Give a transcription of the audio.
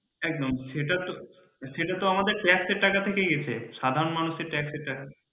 একদম সেটাতোসেটাতো আমাদের tax এর টাকা থেকেই এসেছে সাধারণ মানুষের tax এর টাকা